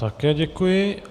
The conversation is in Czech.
Také děkuji.